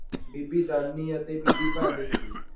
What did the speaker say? ਬੀਬੀ ਦਾਨੀ ਅਤੇ ਬੀਬੀ ਭਾਨੀ ਸੀ।